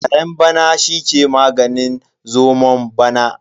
Karen bana shi ke maganin zomon bana.